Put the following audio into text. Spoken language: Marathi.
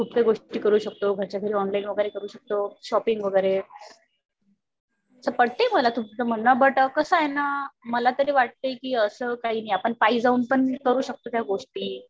खुप काही गोष्टी करू शकतो. घरच्या घरी ऑनलाईन वगैरे करू शकतो. शॉपिंग वगैरे. तसं पटतंय मला तूमंच म्हणणं बट कसं आहे ना मला तरी वाटते कि अस काही नाहीये. आपण पायी जाऊन पण करू शकतो त्या गोष्टी.